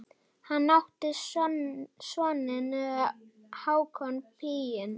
Hann átti soninn Hákon Píning.